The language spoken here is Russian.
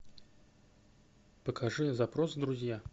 покажи запрос друзья